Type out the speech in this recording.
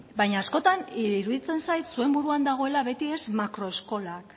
baina askotan iruditzen zait zuen buruan dagoela beti makro eskolak